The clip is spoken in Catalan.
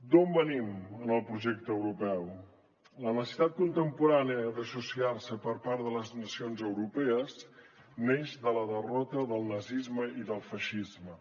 d’on venim en el projecte europeu la necessitat contemporània d’associar se per part de les nacions europees neix de la derrota del nazisme i del feixisme